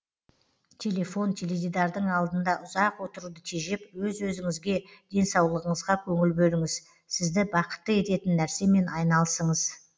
телефон теледидардың алдында ұзақ отыруды тежеп өз өзіңізге денсаулығыңызға көңіл бөліңіз сізді бақытты ететін нәрсемен айналысыңыз